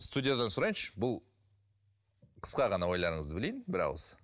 студиядан сұрайыншы бұл қысқа ғана ойларыңызды білейін бір ауыз